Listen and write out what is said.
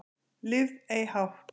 Lifð ei hátt